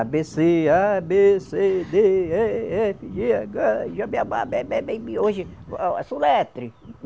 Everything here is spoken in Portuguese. A, bê, cê, A, bê, cê dê, é, efe, gê, agá, i, já bê a bá, bê é bé, bê i bi , hoje a a soletre.